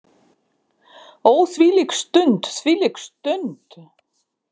Ó þvílík stund, þvílík stund.